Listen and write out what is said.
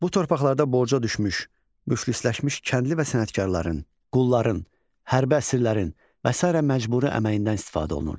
Bu torpaqlarda borca düşmüş, müflisləşmiş kəndli və sənətkarların, qulların, hərbi əsirlərin və sairə məcburi əməyindən istifadə olunurdu.